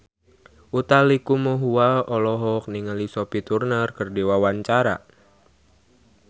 Utha Likumahua olohok ningali Sophie Turner keur diwawancara